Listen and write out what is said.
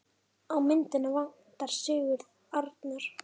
Á myndina vantar Sigurð Arnar.